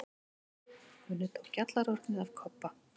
Gunni tók gjallarhornið af Kobba.